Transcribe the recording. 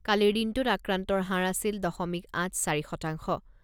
কালিৰ দিনটোত আক্ৰান্তৰ হাৰ আছিল দশমিক আঠ চাৰি শতাংশ।